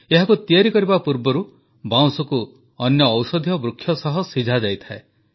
ଏହାକୁ ତିଆରି କରିବା ପୂର୍ବରୁ ବାଉଁଶକୁ ଅନ୍ୟ ଔଷଧୀୟ ବୃକ୍ଷ ସହ ସିଝାଯାଇଥାଏ